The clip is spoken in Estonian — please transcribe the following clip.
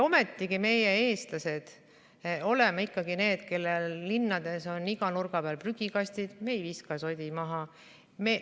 Ometigi meie, eestlased, oleme ikkagi need, kellel linnades on iga nurga peal prügikastid, me ei viska sodi maha.